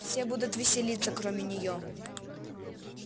все будут веселиться кроме неё